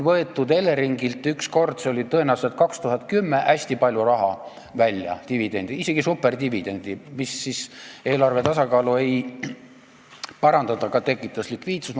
Eleringilt võeti üks kord, see oli tõenäoliselt 2010, hästi palju dividendi välja, isegi superdividend oli see, mis eelarve tasakaalu ei parandanud, aga tekitas likviidsust.